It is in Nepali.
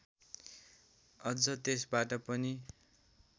अझ त्यसबाट पनि